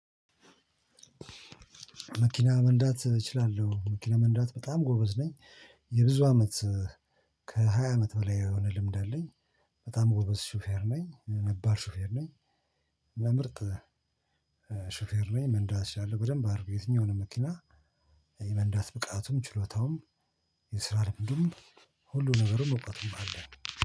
መኪና መንዳት እችላለሁ መኪና መንዳት በጣም ጎበዝ ነኝ። የብዙ አመት ከሃያ አመት በላይ የሆነ ልምድ አለኝ። በጣም ጎበዝ ሹፌር ነኝ ነባር ሹፌር ነኝ። እና ምርጥ ሹፌር ነኝ። መንዳት እችላለሁ በደንብ አድርጌ የትኛውንም መኪና የመንዳት ብቃቱም ችሎታውም የስራ ልምዱም ሁሉ ነገሩም እውቀቱም አለ